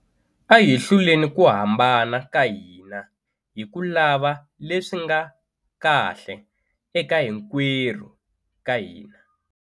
A hi hluleni ku hambana ka hina hi ku lava leswi nga kahle eka hinkwerhu ka hina.